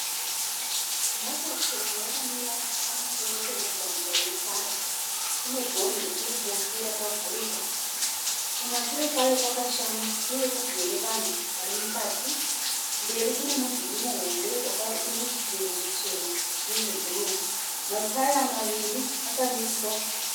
Mota chena yakamira pamusoro pemugwagwa wetara. Ine gonhi rekuruboshwe rakavhurika. Kumashure kwayo kwakashama uye kugere vanhu vari mukati. Mberi kune mudhuri muhombe une chidziro chichena nezvebhuruu. Mataya maviri akamiswa.